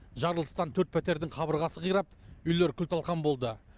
жарылыстан төрт пәтердің қабырғасы қирап үйлер күл талқан болды